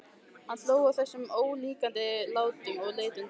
Hann hló að þessum ólíkindalátum og leit undan.